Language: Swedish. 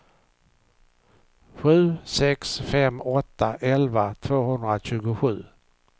sju sex fem åtta elva tvåhundratjugosju